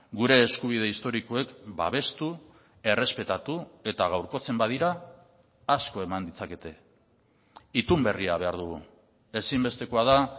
gure eskubide historikoek babestu errespetatu eta gaurkotzen badira asko eman ditzakete itun berria behar dugu ezinbestekoa da